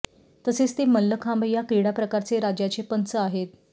तसेच ते मल्लखांब या क्रीडा प्रकारचे राज्याचे पंच आहेत